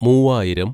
മൂവായിരം